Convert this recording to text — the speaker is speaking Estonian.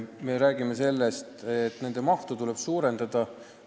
Me räägime sellest, et nende mahtu tuleb suurendada.